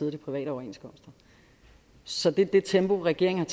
af de private overenskomster så det er det tempo regeringen